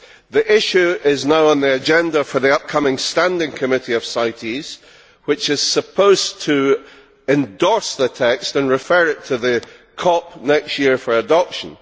The issue is now on the agenda for the upcoming Standing Committee of CITES, which is supposed to endorse the text and refer it to the Conference of Parties next year for adoption.